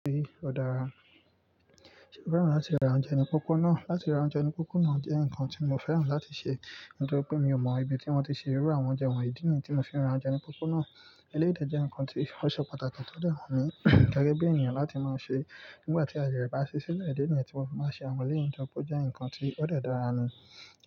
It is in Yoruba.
Ó dára. Mo fẹ́ràn láti ra oúnjẹ ní pópó náà. Láti ra oúnjẹ ní pópó náà jẹ́ nǹkan tí mo fẹ́ràn láti ṣe, nítorí pé mi ò mọ ibi tí wọ́n ti ṣe rú àwọn oúnjẹ wọ̀nyí. Ìdí níyi ti mo fi ra oúnjẹ ní pópó náà. Eléyìí dè jẹ́ nǹkan tí ó ṣe pàtàkì tó de wunmi gẹ́gẹ́ bí ènìyàn láti máa ṣe. Nígbà tí aaye re ba si sile, ìdí níyẹ̀n ti mo fi maa n ṣe àwọn eleyun tori pe o jẹ́ nǹkan tí ó de dára ni.